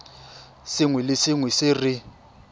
sengwe le sengwe se re